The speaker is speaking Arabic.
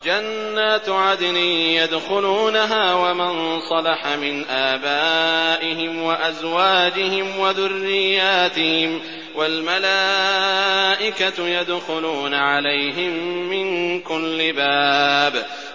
جَنَّاتُ عَدْنٍ يَدْخُلُونَهَا وَمَن صَلَحَ مِنْ آبَائِهِمْ وَأَزْوَاجِهِمْ وَذُرِّيَّاتِهِمْ ۖ وَالْمَلَائِكَةُ يَدْخُلُونَ عَلَيْهِم مِّن كُلِّ بَابٍ